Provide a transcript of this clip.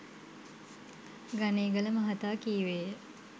ගනේගල මහතා කීවේය.